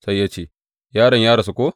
Sai ya ce, Yaron ya rasu ko?